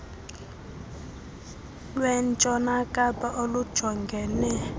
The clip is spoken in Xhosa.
lwentshona kapa olujongene